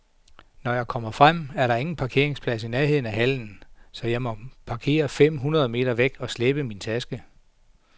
Når jeg kommer frem, er der ingen parkeringsplads i nærheden af hallen, så jeg må parkere fem hundrede meter væk og slæbe min taske.